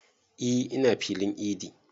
E ina filin idi